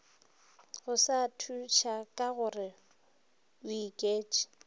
go sa thušakagore o iketš